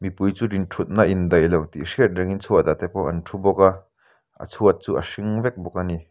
mipui chu thutna indaih lo tih hriat rengin chhuatah te pawh an thu bawk a a chhuat chu a hring vek bawk a ni.